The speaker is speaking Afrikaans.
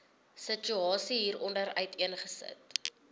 situasie hieronder uiteengesit